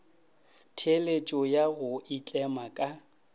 theeletšo ya go itlema ka